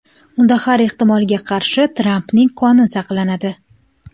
Unda har ehtimolga qarshi Trampning qoni saqlanadi.